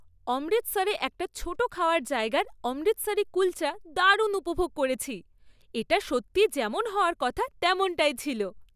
অমৃতসরে একটা ছোট খাওয়ার জায়গার অমৃতসারি কুলচা দারুণ উপভোগ করেছি। এটা সত্যি যেমন হওয়ার কথা তেমনটাই ছিল।